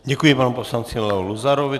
Děkuji panu poslanci Leo Luzarovi.